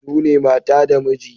Sune mata da miji